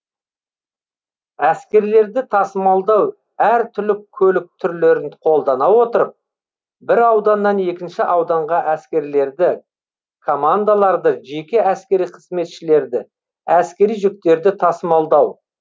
әскерлерді тасымалдау әр түрлі көлік түрлерін қолдана отырып бір ауданнан екінші ауданға әскерлерді командаларды жеке әскери қызметшілерді әскери жүктерді тасымалдау